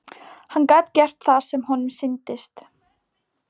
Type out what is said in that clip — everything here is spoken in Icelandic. Hann gat gert það sem honum sýndist.